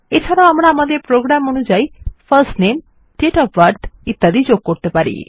এছাড়াও আমরা আমাদের প্রোগ্রাম অনুযায় ফার্স্ট নামে দাতে ওএফ বার্থ ইত্যাদি যোগ করতে পারি